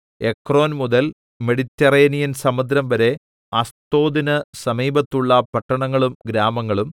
Ekron മുതൽ Mediterranean സമുദ്രംവരെ അസ്തോദിന് സമീപത്തുള്ള പട്ടണങ്ങളും ഗ്രാമങ്ങളും